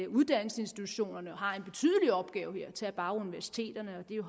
uddannelsesinstitutionerne har en betydelig opgave her tag bare universiteterne det er